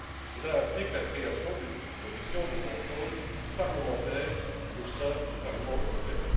Cela implique la création d'une commission de contrôle parlementaire au sein du Parlement européen.